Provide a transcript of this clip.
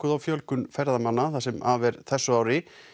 á fjölgun ferðamanna það sem af er þessu ári